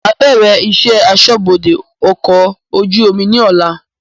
Máa bẹ̀rẹ̀ ìṣẹ́ aṣọ́bodè ọkọ̀ ojú omi ni ọ̀la